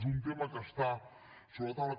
és un tema que està sobre la taula